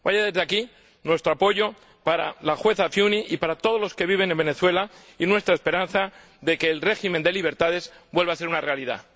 Vaya, desde aquí, nuestro apoyo para la juez Afiuni y para todos los que viven en Venezuela, y nuestra esperanza de que el régimen de libertades vuelva a ser una realidad.